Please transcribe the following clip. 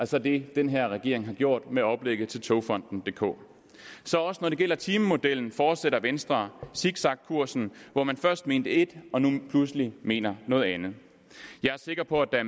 så det den her regering har gjort med oplægget til togfonden dk så også når det gælder timemodellen fortsætter venstre zigzagkursen hvor man først mente ét og nu pludselig mener noget andet jeg er sikker på at